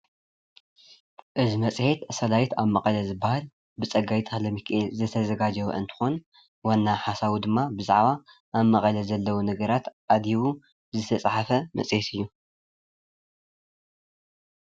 እዚ መፅሄት ሰላይት ኣብ መቐለ ዝበሃል ብፀጋይ ተ/ሚኪኤል ዝተዘጋጀወ እንትኾን ዋና ሓሳቡ ድማ ብዛዕባ ኣብ መቐለ ዘለው ነገራት ኣድሂቡ ዝተፃሕፈ መፅሄት እዩ፡፡